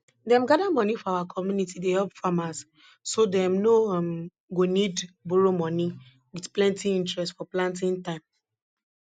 dem gather money for community dey help farmers so dem no um go need borrow money with plenty interest for planting time